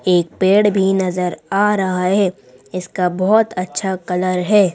एक पेड़ भी नजर आ रहा है इसका बहुत अच्छा कलर है।